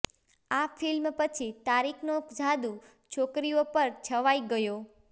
આ ફિલ્મ પછી તારિકનો જાદુ છોકરીઓ પર છવાઈ ગયો